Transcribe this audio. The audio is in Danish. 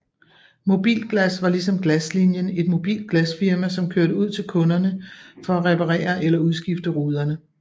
Mobilglas var ligesom Glaslinien et mobilt glasfirma som kørte ud til kunderne for at reparerer eller udskifte ruderne